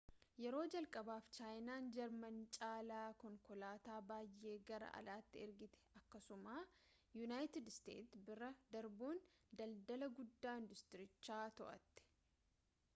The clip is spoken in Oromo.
yeroo jalqabaaf chaayinaan jaarmanii caalaa konkolaataa baay'ee gara alaatti ergitee akkasuma yuunayiitid isteets bira darbuun daldala guddaa induustiirichaa to'atte